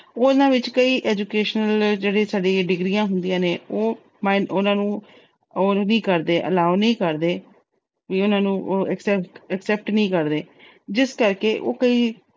ਉਹਨਾਂ ਵਿੱਚ ਕਈ educational ਜਿਹੜੀ ਸਾਡੀਆਂ degrees ਹੁੰਦੀਆਂ ਨੇ, ਉਹ ਅਹ ਉਹਨਾਂ ਨੂੰ allow ਨੀ ਕਰਦੇ। ਉਹ ਅਹ ਉਹਨਾਂ ਨੂੰ accept ਅਹ ਨੀ ਕਰਦੇ। ਜਿਸ ਕਰਕੇ ਉਹ ਕਈ